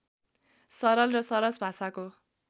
सरल र सरस भाषाको